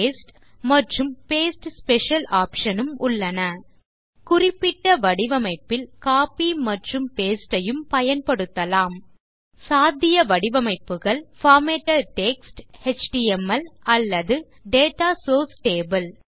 paste மற்றும் paste special option உம் உள்ளன குறிப்பிட்ட வடிவமைப்பில் கோப்பி மற்றும் பாஸ்டே ஐயும் பயன்படுத்தலாம் சாத்திய வடிவமைப்புகள் பார்மேட்டட் டெக்ஸ்ட் எச்டிஎம்எல் அல்லது டேட்டா சோர்ஸ் டேபிள்